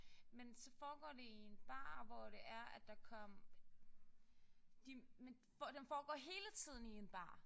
Men så foregår det i en bar hvor det er at der kom de men den foregår hele tiden i en bar